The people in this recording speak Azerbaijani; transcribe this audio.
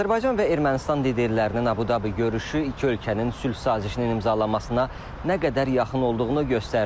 Azərbaycan və Ermənistan liderlərinin Əbu-Dabi görüşü iki ölkənin sülh sazişinin imzalanmasına nə qədər yaxın olduğunu göstərdi.